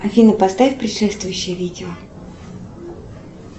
афина поставь предшествующее видео